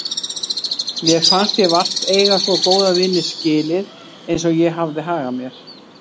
Mér fannst ég vart eiga svo góða vini skilið eins og ég hafði hagað mér.